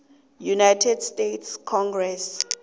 united states congress